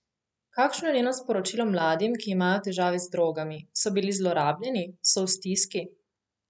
Kakšno je njeno sporočilo mladim, ki imajo težave z drogami, so bili zlorabljeni, so v stiski?